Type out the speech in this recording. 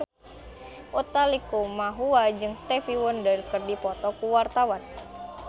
Utha Likumahua jeung Stevie Wonder keur dipoto ku wartawan